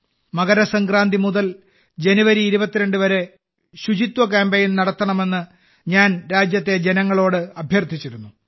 മകരസംക്രാന്തി മുതൽ ജനുവരി 22 വരെ ശുചിത്വ കാമ്പയിൻ നടത്തണമെന്ന് ഞാൻ രാജ്യത്തെ ജനങ്ങളോട് അഭ്യർത്ഥിച്ചിരുന്നു